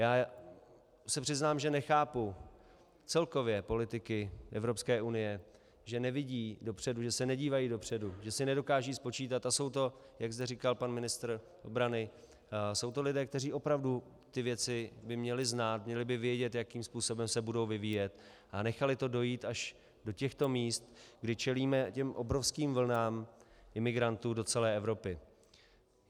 Já se přiznám, že nechápu celkově politiky Evropské unie, že nevidí dopředu, že se nedívají dopředu, že si nedokážou spočítat - a jsou to, jak zde říkal pan ministr obrany, jsou to lidé, kteří opravdu ty věci by měli znát, měli by vědět, jakým způsobem se budou vyvíjet, a nechali to dojít až do těchto míst, kdy čelíme těm obrovským vlnám imigrantů do celé Evropy.